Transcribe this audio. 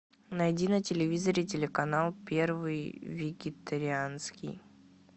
найди на телевизоре телеканал первый вегетарианский